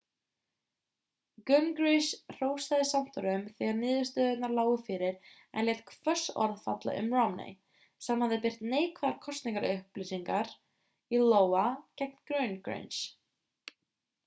gingrich hrósaði santorum þegar niðurstöðurnar lágu fyrir en lét hvöss orð falla um romney sem hafði birt neikvæðar kosningaauglýsingar í iowa gegn gingrich